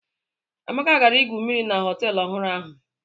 Amaka gara igwu mmiri na họtel ọhụrụ ahụ.